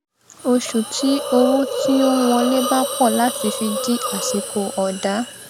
oṣù tí owó ti ó ń wọlé bá pọ láti fi di àsìkò ọdá